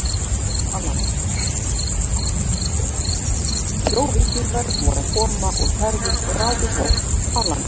Sjóvíkingar voru að koma úr ferðum og ráku fólk á land.